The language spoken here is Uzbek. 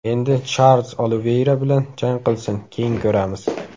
Endi Charlz Oliveyra bilan jang qilsin, keyin ko‘ramiz.